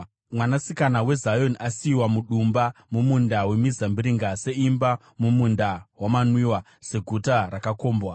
Mwanasikana weZioni asiyiwa sedumba mumunda wemizambiringa, seimba mumunda wamanwiwa, seguta rakakombwa.